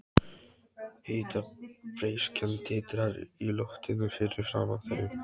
Hitabreyskjan titrar í loftinu fyrir framan þau.